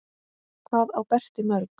Hvað á Berti mörg?